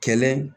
Kɛlɛ